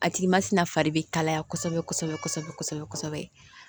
A tigi masina fari bɛ kalaya kosɛbɛ kosɛbɛ kosɛbɛ kosɛbɛ